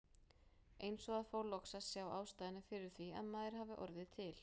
Eins og að fá loks að sjá ástæðuna fyrir því að maður hafi orðið til.